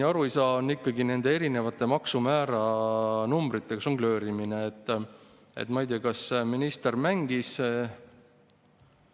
On pensionäridega, kes enamasti sissetulekute järgi kuuluvad kolmandasse kuni viiendasse detsiili ning kelle keskmine pension on tulumaksuvaba ja see tulumaksumuudatusega ei suurene, aga kulud käibemaksumäära 2% suurenevad, nagu me just enne vastu võtsime.